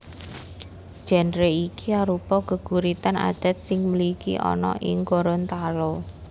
Génre iki arupa geguritan adat sing mligi ana ing Gorontalo